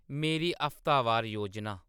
मेरी हफ्तावार योजना